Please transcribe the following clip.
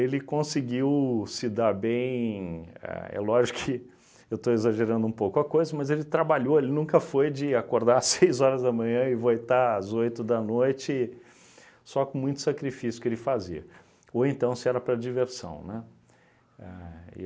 Ele conseguiu se dar bem, a é lógico que eu estou exagerando um pouco a coisa, mas ele trabalhou, ele nunca foi de acordar às seis horas da manhã e voitar às oito da noite, só com muito sacrifício que ele fazia, ou então se era para diversão, né? Éh